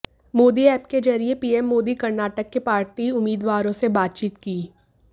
Modi app के जरिये PM Modi Karnataka के पार्टी उम्मीदवारों से बातचीत की